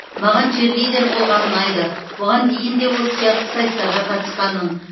маған черлидер болған ұнайды бұған дейін де осы сияқты сайыстарға қатысқанмын